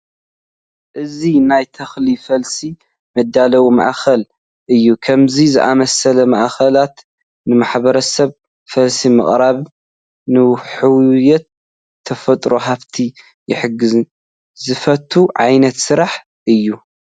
እዚ ናይ ተኽሊ ፈልሲ መዳለዊ ማእከል እዩ፡፡ ከምዚ ዝኣምሰሉ ማእከላት ንማሕበረሰብ ፈልሲ ብምቕራብ ንሕውየት ተፈጥሮ ሃፍቲ ይሕግዙ፡፡ ዝፍቶ ዓይነት ስራሕ እዩ፡፡